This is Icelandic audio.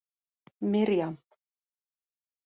Mirjam